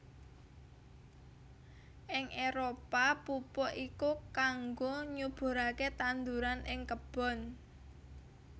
Ing Éropah pupuk iki kangggo nyuburaké tanduran ing kebon